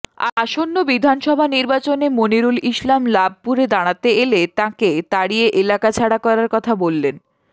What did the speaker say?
আসন্ন বিধানসভা নির্বাচনে মনিরুল ইসলাম লাভপুরে দাঁড়াতে এলে তাঁকে তাড়িয়ে এলাকা ছাড়া করার কথা বললেন